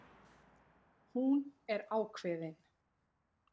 Hún er ákveðin.